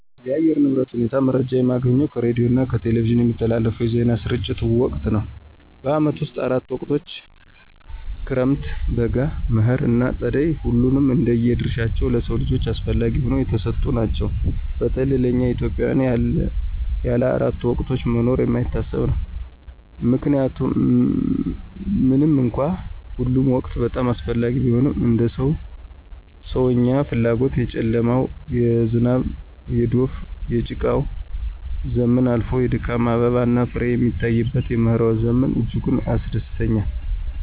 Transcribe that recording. የአየር ንብረት ሁኔታ መረጃ የማገኘው ከሬዲዮና ከቴሌቪዥን በሚተላለፉ የዜና ስርጭት ወቅት ነው። በዓመቱ ውስጥ አራት ወቅቶች ክረምት፣ በጋ፣ መኸር ና ፀደይ ሁሉም እንደየ ድርሻቸው ለሰው ልጆች አስፈለጊ ሁነው የተሰጡን ናቸው። በተለይ ለእኛ ኢትዮጵያውያን ያለ አራቱ ወቅቶች መኖር የማይታሰብ ነው። ምንም እንኳን ሁሉም ወቅቶች በጣም አስፈላጊ ቢሆኑም እንደ ሰው ሰዎኛ ፍላጎት የጨለማው፣ የዝናብ፣ የዶፍ፣ የጭቃው ዘመን አልፎ የድካም አበባና ፍሬ የሚታይበት የመኸር ዘመን እጅጉን ያስደስተኛል።